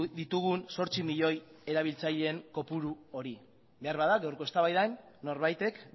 ditugun zortzi milioi erabiltzaileen kopuru hori beharbada gaurko eztabaidan norbaitek